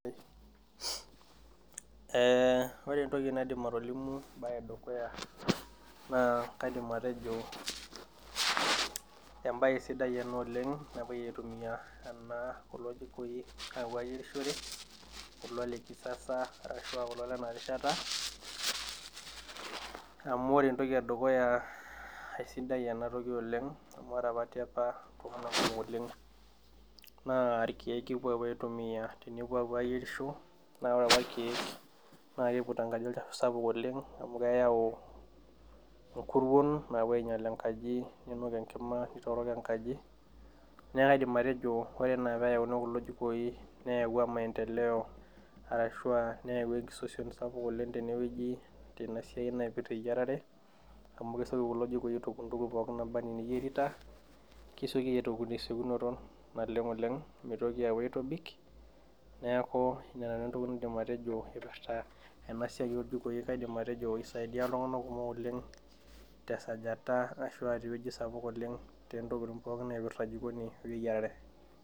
Ee orenentoki naidim atolimu embae edukuya na kaidim atejo embae sidai ena oleng napuoi aitumia ena kulo jikoi apuo ayerishore kulo le kisasa ashu a kulo lenarishata, amu ore entoki edukuya kesidai ena oleng amu ltunganak le apa irkiwk epuoi aitumia na ore rkiek epuo aitumia na olchafu sapuk oleng na keyau nkuruon na kepuo ainyal enkima nitorok enkaji kaiidim atejo ore ana peyauni kulo jikoi na maendeleo ashu a neyawua enkisosiom tenasiai eyiarare ntuko pookin naba ana eniyierita kesioki aitoki tesiokinoto oleng neaku inananu entoki naidim atejo ipirta esiai oljikoi amu kisaidia ltunganak oleng tesajata naipirta jikoni weyiarare